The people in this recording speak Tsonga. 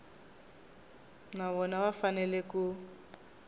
na vona va fanele ku